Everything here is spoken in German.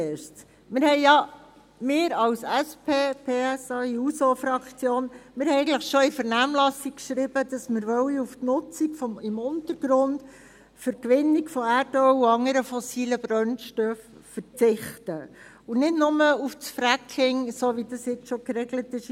Wir als SP-PSA-JUSOFraktion haben eigentlich bereits in der Vernehmlassung geschrieben, dass wir auf die Nutzung im Untergrund für die Gewinnung von Erdöl und anderen fossilen Brennstoffen verzichten wollen, nicht nur auf das Fracking, wie dies in Artikel 4a jetzt schon geregelt ist.